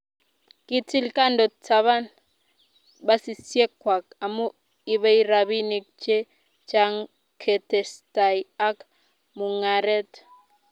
kitil konde taban basisiekwach amu ibei robinik che chang' ketestai ak mung'aret.